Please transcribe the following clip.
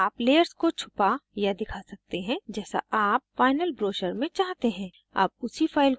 अब आप layers को छुपा या दिखा सकते हैं जैसा आप final ब्रोशर में चाहते हैं